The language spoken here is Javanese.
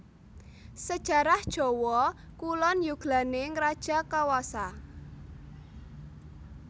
Sejarah Jawa Kulon yuglaning rajakawasa